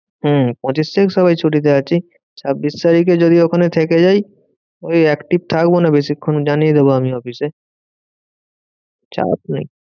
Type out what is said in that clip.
হম পঁচিশ তারিখ সবাই ছুটিতে আছি। ছাব্বিশ তারিখ যদি ওখানে থেকে যাই ওই active থাকবো না বেশিক্ষন জানিয়ে দেব আমি অফিসে। চাপ নেই।